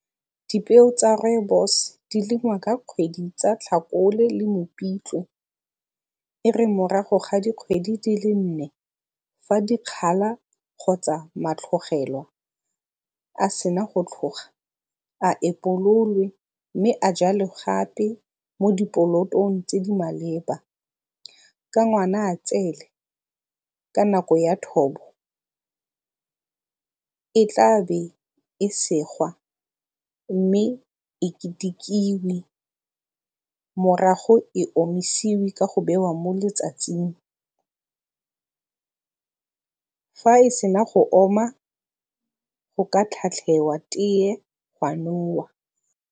Dipeo tsa rooibos di lengwa ka kgwedi tsa Tlhakole le Mopitlwe. E re morago ga dikgwedi di le nne fa dikgala kgotsa matlogelo a se na go tlhoga, a epololwe mme a jalwe gape mo dipolotong tse di maleba. Ka Ngwanatsele, ka nako ya thobo, e tla be e segwa mme e ketekiwe morago e omisiwe ka go bewa mo letsatsing. Fa e se na go oma, go ka tlhatlhewa tee ga nowa.